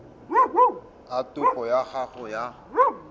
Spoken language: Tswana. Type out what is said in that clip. a topo ya gago ya